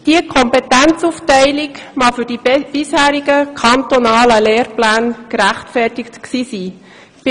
Diese Kompetenzaufteilung mag für die bisherigen kantonalen Lehrpläne gerechtfertigt gewesen sein.